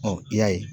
i y'a ye